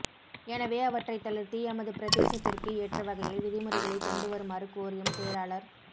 எனவே அவற்றை தளர்த்தி எமது பிரதேசத்திற்கு ஏற்ற வகையில் விதிமுறைகளை கொண்டுவருமாறு கோரியும் செயலாளர்